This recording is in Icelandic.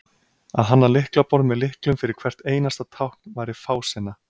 að hanna lyklaborð með lyklum fyrir hvert einasta tákn væri fásinna